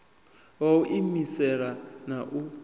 wa u iimisela a na